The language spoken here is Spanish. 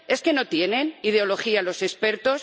¿Es que no tienen ideología los expertos?